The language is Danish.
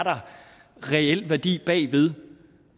der reel værdi bagved